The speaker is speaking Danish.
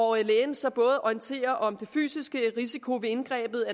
og at lægen så både orienterer om den fysiske risiko ved indgrebet